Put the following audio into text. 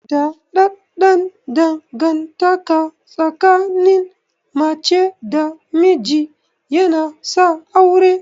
Daɗaɗɗan dangantaka tsakin mace da namiji yana sa aure.